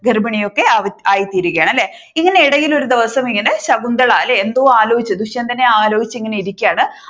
ഗർഭിണി ഒക്കെ ആയിത്തീരുകയാണ് ഇങ്ങനെ ഇടയിൽ ഒരു ദിവസം ഇങ്ങനെ ശകുന്തള അല്ലെ എന്തോ ആലോചിച്ചു ദുഷ്യന്തനെ ആലോചിച്ചു ഇങ്ങനെ ഇരിക്കുകയാണ്